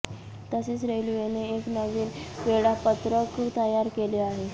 तसेच रेल्वेने एक नवीन वेळापत्रक तयार केले आहे